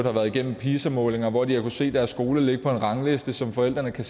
har været igennem pisa målinger og hvor de har kunnet se deres skole på en rangliste som forældrene kan